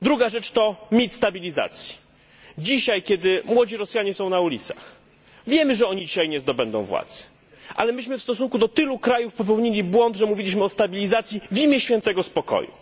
Druga rzecz to mit stabilizacji. Dzisiaj, kiedy młodzi Rosjanie są na ulicach, wiemy, że nie zdobędą oni władzy, ale myśmy w stosunku do tylu krajów popełnili błąd, gdy mówiliśmy o stabilizacji w imię świętego spokoju.